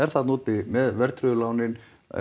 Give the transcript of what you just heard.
þarna úti með verðtryggðu lánin